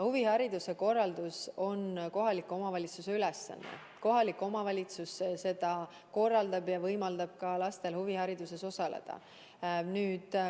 Huvihariduse korraldus on kohaliku omavalitsuse ülesanne, kohalik omavalitsus korraldab seda ja võimaldab lastel huvihariduses osaleda.